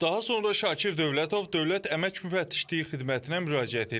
Daha sonra Şakir Dövlətov Dövlət Əmək Müfəttişliyi Xidmətinə müraciət edib.